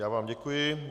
Já vám děkuji.